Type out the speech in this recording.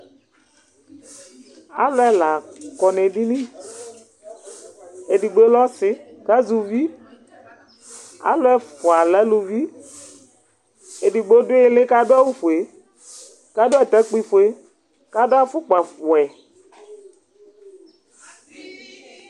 Alu Ɛla kɔ nu edini , edigbo lɛ ɔsi, ku azɛ uvi, alu ɛfʋa lɛ aluvi, edigbo du ili ku adu awu fue, ku adu atakpui fue, ku adu afukpa wɛ